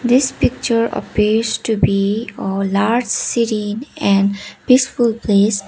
this picture appears to be a large serene and peaceful place.